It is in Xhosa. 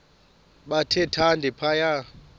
bathe thande phaya